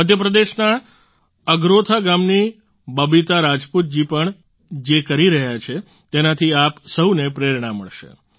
મધ્યપ્રદેશના અગરોથા ગામની બબીતા રાજપૂત જી પણ જે કરી રહ્યા છે તેનાથી આપ સહુને પ્રેરણા મળશે